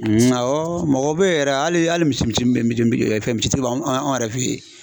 awɔ mɔgɔw bɛ yɛrɛ hali hali misi misi misi tigi bɛ anw yɛrɛ fɛ ye.